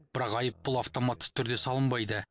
бірақ айыппұл автоматты түрде салынбайды